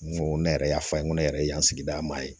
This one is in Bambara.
N ko ne yɛrɛ y'a fɔ a ye n ko ne yɛrɛ ye yan sigida maa ye